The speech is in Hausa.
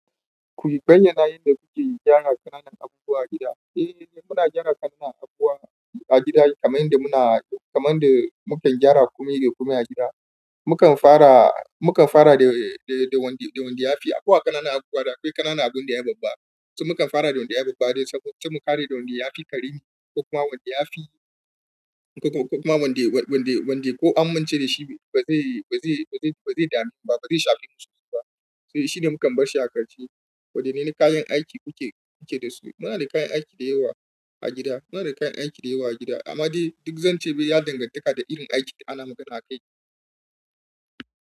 Ku yi bayyanai yadda kuke gyara ƙananan abubuwa a gida. Eh, muna gyara ƙananan abubuwa a gida kamar yadda muke gyara komai da komai a gida. Mukan fara mukan fara da wanda ya fi, akwai ƙananan abubuwa da akwai ƙananan abin da ya babba. To, mukan fara da wanda yafi babba saboda mu kare wanda ya fi karami, ko kuma wanda yafi kuma wanda ko an amince da shi ba zai damu ba, ba zai shafe wasu ba. Sai shine mukan bar shi a ƙarshe. Wadanneh kayan aiki kuke da su? Muna da kayan aiki da yawa a gida. Amma dai zan ce ya danganta da irin aikin ana magana kai.